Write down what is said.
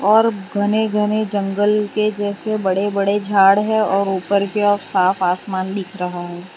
और घने घने जंगल के जैसे बड़े बड़े झाड़ है और ऊपर के ओर साफ आसमान दिख रहा है।